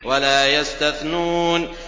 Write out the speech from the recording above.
وَلَا يَسْتَثْنُونَ